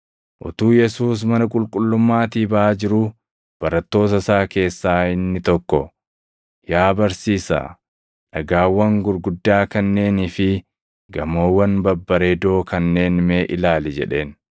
Utuu Yesuus mana qulqullummaatii baʼaa jiruu barattoota isaa keessaa inni tokko, “Yaa Barsiisaa! Dhagaawwan gurguddaa kanneenii fi gamoowwan babbareedoo kanneen mee ilaali!” jedheen.